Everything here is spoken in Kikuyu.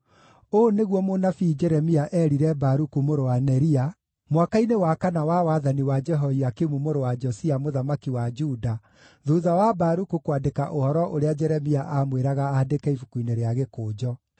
Ũũ nĩguo mũnabii Jeremia eerire Baruku mũrũ wa Neria, mwaka-inĩ wa kana wa wathani wa Jehoiakimu mũrũ wa Josia mũthamaki wa Juda, thuutha wa Baruku kwandĩka ũhoro ũrĩa Jeremia aamwĩraga andĩke ibuku-inĩ rĩa gĩkũnjo: